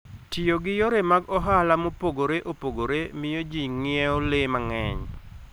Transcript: Tiyo gi yore mag ohala mopogore opogore miyo ji ng'iewo le mang'eny.